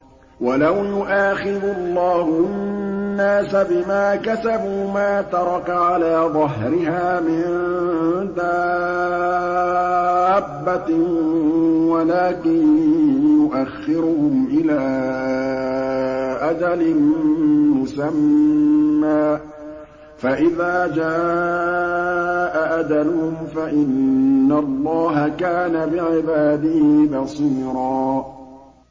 وَلَوْ يُؤَاخِذُ اللَّهُ النَّاسَ بِمَا كَسَبُوا مَا تَرَكَ عَلَىٰ ظَهْرِهَا مِن دَابَّةٍ وَلَٰكِن يُؤَخِّرُهُمْ إِلَىٰ أَجَلٍ مُّسَمًّى ۖ فَإِذَا جَاءَ أَجَلُهُمْ فَإِنَّ اللَّهَ كَانَ بِعِبَادِهِ بَصِيرًا